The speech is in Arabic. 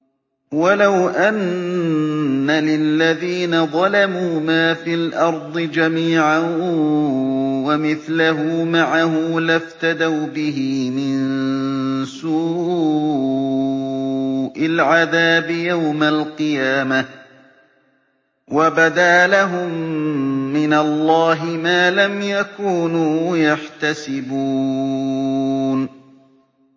وَلَوْ أَنَّ لِلَّذِينَ ظَلَمُوا مَا فِي الْأَرْضِ جَمِيعًا وَمِثْلَهُ مَعَهُ لَافْتَدَوْا بِهِ مِن سُوءِ الْعَذَابِ يَوْمَ الْقِيَامَةِ ۚ وَبَدَا لَهُم مِّنَ اللَّهِ مَا لَمْ يَكُونُوا يَحْتَسِبُونَ